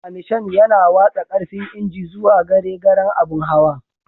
Tiramishan yana watsa karfin injin zuwa gare garen abun hawan.